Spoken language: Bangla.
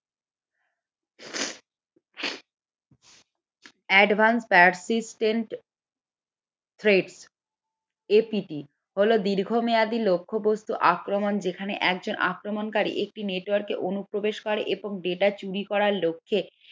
advance persistent threatAPT হলো দীর্ঘমেয়াদি লক্ষ্য আক্রমণ যেখানে একজন আক্রমণকারী একটি network অনুপ্রবেশ করে এরপর data চুরি করার লক্ষ্যে